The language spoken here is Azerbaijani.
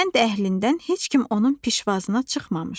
Kənd əhlindən heç kim onun pişvazına çıxmamışdı.